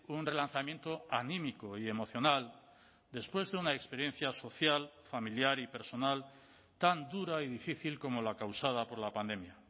un relanzamiento anímico y emocional después de una experiencia social familiar y personal tan dura y difícil como la causada por la pandemia